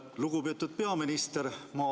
Lugupeetud peaminister!